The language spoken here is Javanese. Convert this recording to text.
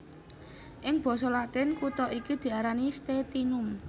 Ing basa Latin kutha iki diarani Stetinum